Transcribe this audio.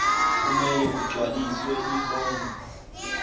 kumele kugcwaliswe ifomu